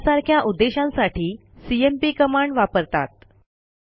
यासारख्या उद्देशांसाठी CMP command वापरतात